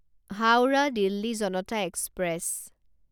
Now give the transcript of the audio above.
Howrah Delhi Janata express